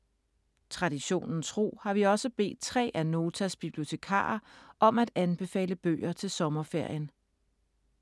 Traditionen tro har vi også bedt tre af Notas bibliotekarer om at anbefale bøger til sommerferien.